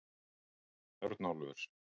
Örnólfur